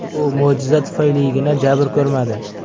U mo‘jiza tufayligina jabr ko‘rmadi.